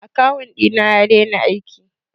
akawun ɗina ya dena aiki